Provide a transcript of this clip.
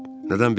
Nədən bilirsən?